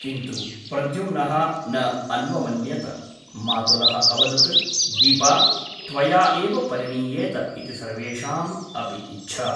किन्तु प्रद्युम्नः न अन्वमन्यत । मातुलः अवदत् दीपा त्वया एव परिणीयेत इति सर्वेषाम् अपि इच्छा ।